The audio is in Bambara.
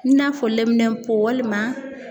I n'a fɔ lɛminɛnpo, walima